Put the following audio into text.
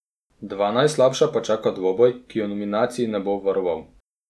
Dva najslabša pa čaka dvoboj, ki ju nominacij ne bo obvaroval.